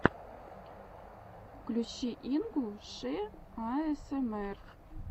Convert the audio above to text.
включи ингу шэ аэсэмэр